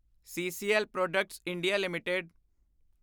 CCL products India LTD